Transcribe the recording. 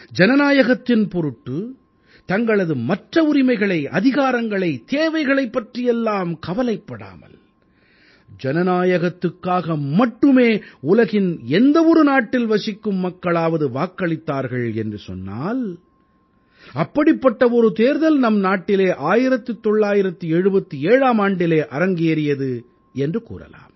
ஜனநாயகத்தின் பொருட்டு தங்களது மற்ற உரிமைகளை அதிகாரங்களை தேவைகளைப் பற்றியெல்லாம் கவலைப்படாமல் ஜனநாயகத்துக்காக மட்டுமே உலகின் எந்த ஒரு நாட்டில் வசிக்கும் மக்களாவது வாக்களித்தார்கள் என்று சொன்னால் அப்படிப்பட்ட ஒரு தேர்தல் நம் நாட்டிலே 1977ஆம் ஆண்டிலே அரங்கேறியது என்று கூறலாம்